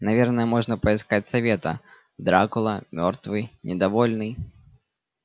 наверное можно поискать совета дракула мёртвый недовольный